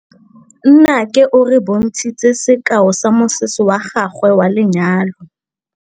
Nnake o re bontshitse sekaô sa mosese wa gagwe wa lenyalo.